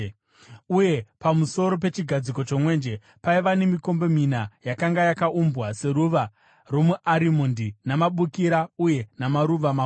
Uye pamusoro pechigadziko chomwenje paiva nemikombe mina yakanga yakaumbwa seruva romuarimondi namabukira uye namaruva makuru.